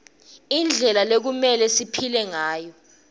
indlela lekumelwe siphile ngayo